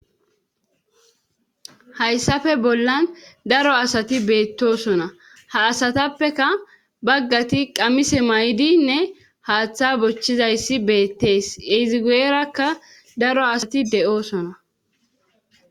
hayssafe bollan daro asati beettosona ha asatappeka baggati qamise may7dinne haaththa bochchizayssi beettees ezigueerakka daro asati de7oosona